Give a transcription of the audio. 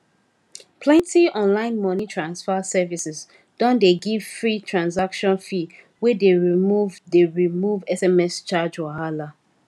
plenty online money transfer services don dey give free transactions fee wey dey remove dey remove sms charge wahala